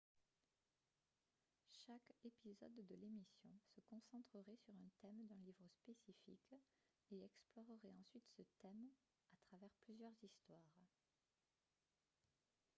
chaque épisode de l'émission se concentrerait sur un thème d'un livre spécifique et explorerait ensuite ce thème à travers plusieurs histoires